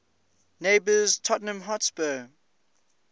neighbours tottenham hotspur